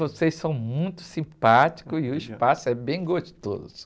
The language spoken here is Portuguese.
Vocês são muito simpáticos e o espaço é bem gostoso.